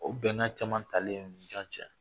O bɛnkan caman talen